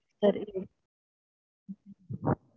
சரி விடுங்க